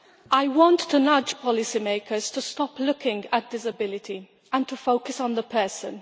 I want to nudge policy makers to stop looking at disability and to focus on the person.